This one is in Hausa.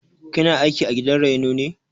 Kina aiki a gidan raino ne?